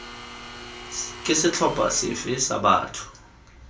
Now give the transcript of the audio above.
ke setlhopha sefe sa batho